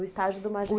O estágio do